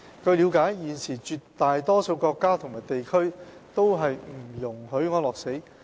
據了解，現時絕大多數國家和地區都不容許安樂死。